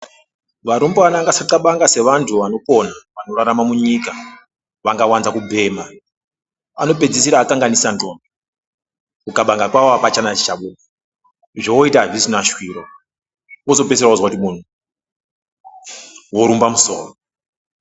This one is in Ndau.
Varumbana ngavasaxabanga sevanhu vanopona vanorarama munyika vakawanza kubhema vanopedzisira vakanganisa ndxondo, kuxabanga kwawo hapana chichabuda zvovoita azvichina shwiro wozotopedzisira wozwa kuti muntu worumba musoro.